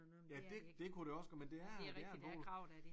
Ja det det kunne også godt men det er det er en polo